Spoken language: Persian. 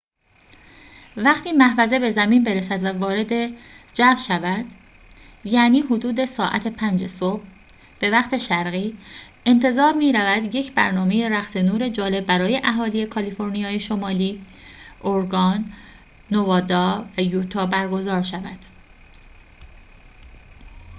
وقتی محفظه به زمین برسد و وارد جو شود، یعنی حدود ساعت 5 صبح به وقت شرقی، انتظار می‌رود یک برنامه رقص نور جالب برای اهالی کالیفرنیای شمالی، اورگان، نوادا و یوتا برگزار شود